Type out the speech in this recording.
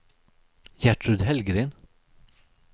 Gertrud Hellgren